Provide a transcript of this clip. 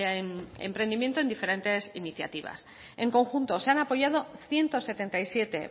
en diferentes iniciativas en conjunto se han apoyado ciento setenta y siete